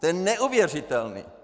To je neuvěřitelné!